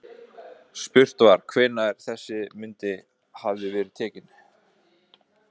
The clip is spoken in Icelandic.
Spurt var, hvenær þessi mynd hefði verið tekin?